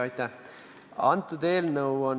Aitäh!